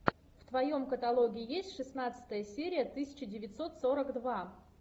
в твоем каталоге есть шестнадцатая серия тысяча девятьсот сорок два